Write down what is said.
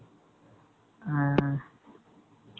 6 . ஆ